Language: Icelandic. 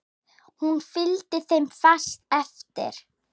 Hún fylgdi þeim fast eftir.